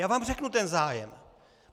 Já vám řeknu ten zájem.